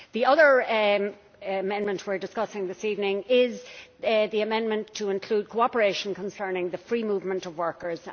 The other amendment we are discussing this evening is the amendment to include cooperation concerning the free movement of workers.